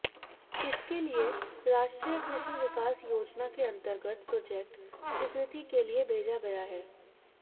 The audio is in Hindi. इसके लिए राष्ट्रीय कृषि विकास योजना के अंतर्गत प्रोजेक्ट स्वीकृति के लिए भेजा गया है